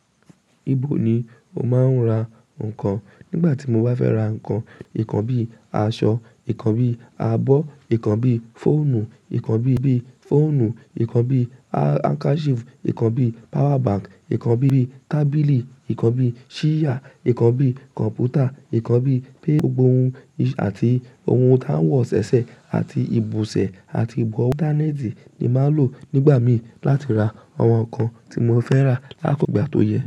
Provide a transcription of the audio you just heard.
Ibo ni o máa ń ra nǹkan? Nígbà tí mo bá fẹ́ ra nǹkan, nǹkan bí i aṣọ, nǹkan bí i abọ́, nǹkan bí i fóònù, nǹkan bí i fóònù, nǹkan bí i handkerchief, nǹkan bí i power bank, nǹkan bí i tábìlì, nǹkan bí i ṣíyà, nǹkan bí i kọ̀m̀pútà, nǹkan bí i pé gbogbo ohun ì- àti ohun tí a ń wọ ṣẹ̀ṣẹ̀ àti ìbùsẹ̀ àti ìbọ̀wọ́, internet ni màá lò nígbà mí láti ra àwọn nǹkan tí mo fẹ́ rà lákòókò àtòyẹ.